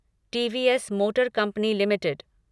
TVS motor company limited